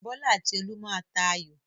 Bọ́lá àti Olú má a tà ayò.